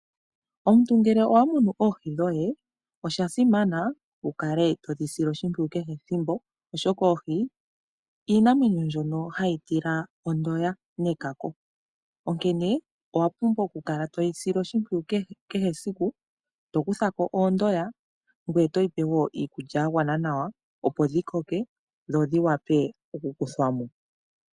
Omuntu ngele owamunu oohi dhoye oshasimana wukale hodhi sile oshipwiyu kehe ethimbo, oshoka oohi iinamwenyo mbyoka hayitila ondoya nekako, onkene owapumbwa okukala toyisile oshimpwiyu kehe esiku tokuthako oondoya ngoye todhipe woo iikulya yagwana nawa opo dhi koke dho dhi wape okukuthwamo.